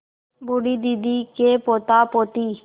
बूढ़ी दादी के पोतापोती